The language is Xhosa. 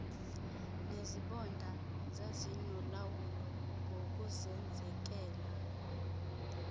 nezibonda zazinolawulo ngokuzenzekela